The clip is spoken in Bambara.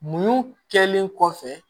Mun kɛlen kɔfɛ